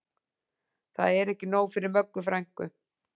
Það er ekki nóg fyrir Möggu frænku